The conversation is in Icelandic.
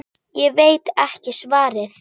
Ég veit ekki svarið.